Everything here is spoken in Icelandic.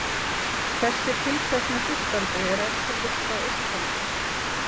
Þessi tiltekni hlustandi er ef til vill frá Eistlandi.